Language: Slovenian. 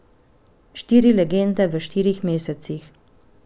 Štiri legende v štirih mesecih.